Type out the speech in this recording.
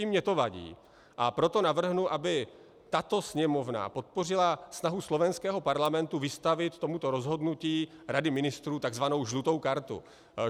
I mně to vadí, a proto navrhnu, aby tato Sněmovna podpořila snahu slovenského parlamentu vystavit tomuto rozhodnutí Rady ministrů tzv. žlutou kartu.